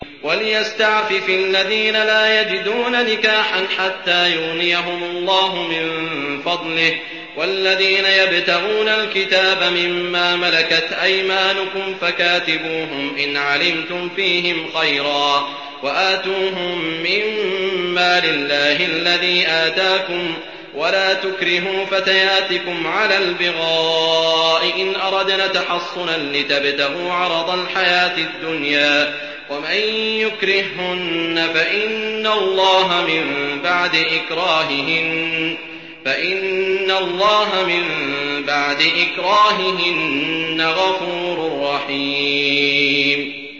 وَلْيَسْتَعْفِفِ الَّذِينَ لَا يَجِدُونَ نِكَاحًا حَتَّىٰ يُغْنِيَهُمُ اللَّهُ مِن فَضْلِهِ ۗ وَالَّذِينَ يَبْتَغُونَ الْكِتَابَ مِمَّا مَلَكَتْ أَيْمَانُكُمْ فَكَاتِبُوهُمْ إِنْ عَلِمْتُمْ فِيهِمْ خَيْرًا ۖ وَآتُوهُم مِّن مَّالِ اللَّهِ الَّذِي آتَاكُمْ ۚ وَلَا تُكْرِهُوا فَتَيَاتِكُمْ عَلَى الْبِغَاءِ إِنْ أَرَدْنَ تَحَصُّنًا لِّتَبْتَغُوا عَرَضَ الْحَيَاةِ الدُّنْيَا ۚ وَمَن يُكْرِههُّنَّ فَإِنَّ اللَّهَ مِن بَعْدِ إِكْرَاهِهِنَّ غَفُورٌ رَّحِيمٌ